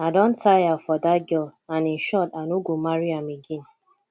i don tire for dat girl and in short i no go marry am again